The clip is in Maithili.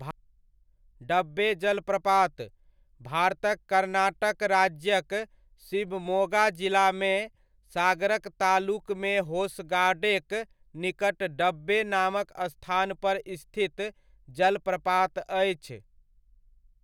डब्बे जलप्रपात, भारतक कर्नाटक राज्यक शिवमोगा जिलामे, सागर तालुकमे होसगाडेक निकट, डब्बे नामक स्थानपर स्थित जलप्रपात अछि।